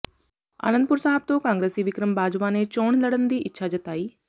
ਆਨੰਦਪੁਰ ਸਾਹਿਬ ਤੋਂ ਕਾਂਗਰਸੀ ਵਿਕਰਮ ਬਾਜਵਾ ਨੇ ਚੋਣ ਲੜਨ ਦੀ ਇੱਛਾ ਜਤਾਈ